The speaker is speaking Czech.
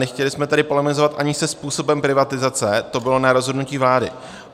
Nechtěli jsme tedy polemizovat ani se způsobem privatizace, to bylo na rozhodnutí vlády.